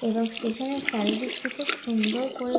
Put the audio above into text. এবং স্টেশন -এর চারিদিকটি খুব সুন্দর করে--